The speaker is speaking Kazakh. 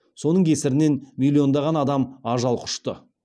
соның кесірінен миллиондаған адам ажал құшты